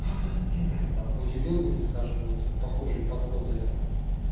там бодибилдинге скажем вот похожие подходы